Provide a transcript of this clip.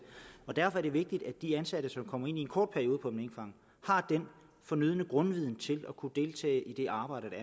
og derfor er det vigtigt at de ansatte som kommer ind i en kort periode på en minkfarm har den fornødne grundviden til at kunne deltage i det arbejde